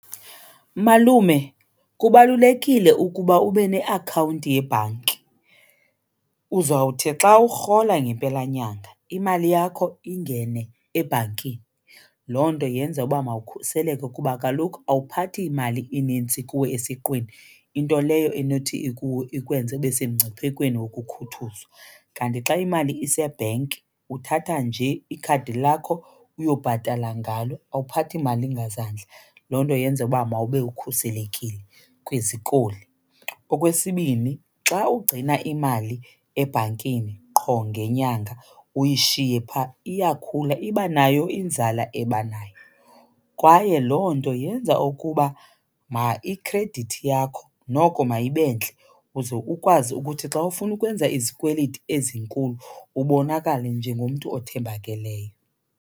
Malume, kubalulekile ukuba ube neakhawunti yebhanki. Uzawuthi xa urhola ngempelanyanga imali yakho ingene ebhankini. Loo nto yenza uba mawukhuseleke kuba kaloku awuphathi mali inintsi kuwe esiqwini, into leyo enothi ikwenze ube semngciphekweni wokukhuthuzwa. Kanti xa imali isebhenki, uthatha nje ikhadi lakho uyobhatala ngalo awuphathi mali ngazandla. Loo nto yenza uba mawube ukhuselekile kwizikoli. Okwesibini, xa ugcina imali ebhankini qho ngenyanga uyishiye phaa, iyakhula iba nayo inzala ebanayo. Kwaye loo nto yenza ukuba ikhredithi yakho noko mayibe ntle uze ukwazi ukuthi xa ufuna ukwenza izikweliti ezinkulu ubonakale njengomntu othembakeleyo.